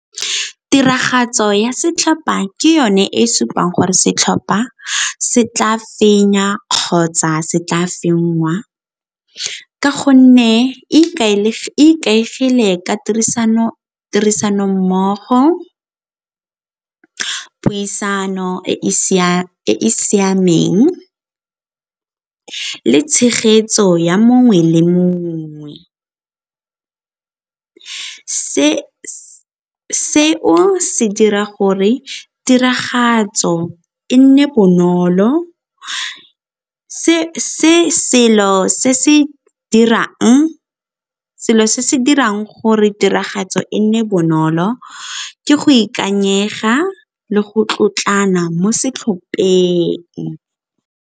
Tiragatso ya setlhopha ke yone e supang gore setlhopha se tla fenya kgotsa se tla fenngwa ka gonne e ikaegile ka tirisanommogo, puisano e e siameng le tshegetso ya mongwe le mongwe. Seo se dira gore tiragatso e nne bonolo, selo se se dirang gore tiragatso e nne bonolo ke go ikanyega le go tlotlana mo setlhopheng..